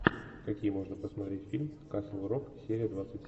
какие можно посмотреть фильм касл рок серия двадцать